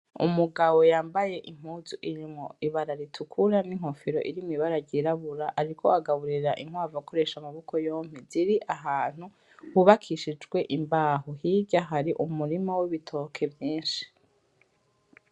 Umugabo yambaye impuzu irimwo ibara ritukura, n'inkofero irimw'ibara ryirabura, ariko agaburira inkwavu akoresha amaboko yompi, ziri ahantu hubakishijwe imbaho hirya hari umurima w'ibitoki vyinshi.